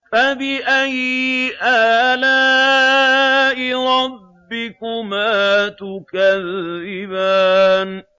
فَبِأَيِّ آلَاءِ رَبِّكُمَا تُكَذِّبَانِ